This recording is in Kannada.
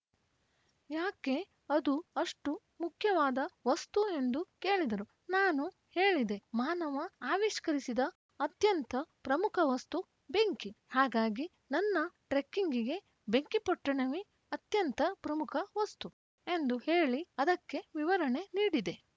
ಯಾಕೆ ಅದು ಅಷ್ಟುಮುಖ್ಯವಾದ ವಸ್ತು ಎಂದು ಕೇಳಿದರು ನಾನು ಹೇಳಿದೆ ಮಾನವ ಆವಿಷ್ಕರಿಸಿದ ಅತ್ಯಂತ ಪ್ರಮುಖ ವಸ್ತು ಬೆಂಕಿ ಹಾಗಾಗಿ ನನ್ನ ಟ್ರೆಕ್ಕಿಂಗ್‌ಗೆ ಬೆಂಕಿಪೊಟ್ಟಣವೇ ಅತ್ಯಂತ ಪ್ರಮುಖ ವಸ್ತು ಎಂದು ಹೇಳಿ ಅದಕ್ಕೆ ವಿವರಣೆ ನೀಡಿದೆ